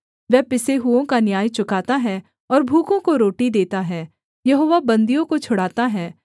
वह पिसे हुओं का न्याय चुकाता है और भूखों को रोटी देता है यहोवा बन्दियों को छुड़ाता है